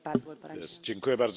Pani Przewodnicząca!